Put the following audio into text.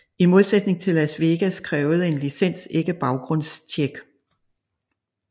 I modsætning til i Las Vegas krævede en licens ikke et baggrundstjek